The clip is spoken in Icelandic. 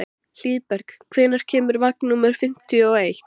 Hlíðberg, hvenær kemur vagn númer fimmtíu og eitt?